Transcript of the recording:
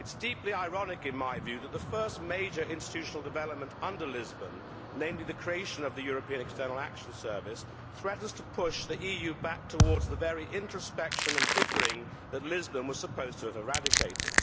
It is deeply ironic, in my view, that the first major institutional development under Lisbon, namely the creation of the European External Action Service, threatens to push the EU back towards the very introspection and bickering that Lisbon was supposed to have eradicated.